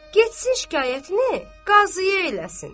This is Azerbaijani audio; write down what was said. Getsin şikayətini qazıya eləsin.